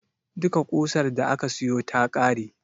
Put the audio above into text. Duka ƙusar da aka siyo ta ƙare.